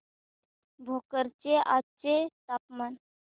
भोकर चे आजचे तापमान